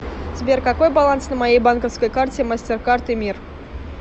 сбер какой баланс на моей банковской карте мастеркард и мир